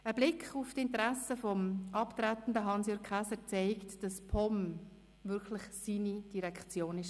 Ein Blick auf die Interessen des abtretenden Hans-Jürg Käser zeigt, dass die POM wirklich seine Direktion war.